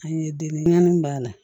An ye den naani b'a la